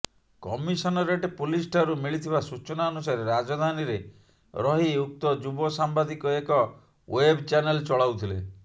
commissionerate ପୁଲିସଠାରୁ ମିଳିଥିବା ସୂଚନା ଅନୁସାରେ ରାଜଧାନୀରେ ରହି ଉକ୍ତ ଯୁବ ସାମ୍ବାଦିକ ଏକ ୱେବ ଚ୍ୟାନେଲ ଚଳାଉଥିଲେ